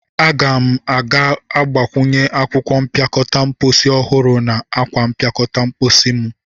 Aga m a ga-agbakwunye akwụkwọ mpịakọta mposi ọhụrụ na akwa mpịakọta mposi mu.